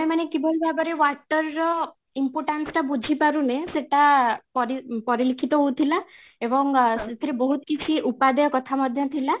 ମାନେ କିଭଳି ଭାବରେ water ର importance ଟା ବୁଝି ପାରୁନେ ସେଟା ପରିଲିଖିତ ହୋଉଥିଲା ଏବଂ ସେଥିରେ ବହୁତ କିଛି ଉପାଦେୟ କଥା ମଧ୍ୟ ଥିଲା